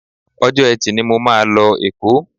Ọjọ́ Ẹtì ni mo máa lọ Èkó